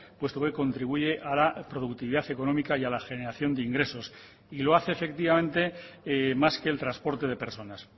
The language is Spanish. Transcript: puesto que contribuye a la productividad económica y a la generación de ingresos y lo hace efectivamente más que el transporte de personas